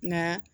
Nka